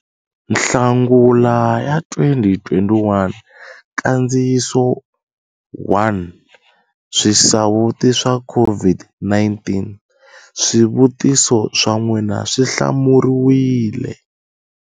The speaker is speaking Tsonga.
Nhlangula 2021 Nkandziyiso 1 Swisawuti swa COVID-19 - Swivutiso swa n'wina swi hlamuriwile.